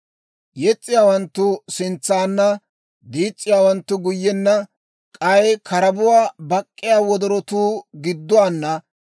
Yes's'iyaawanttu sintsaana; diis's'iyaawanttu guyyenna; k'ay karabuwaa bak'k'iyaa wodorotuu gidduwaana.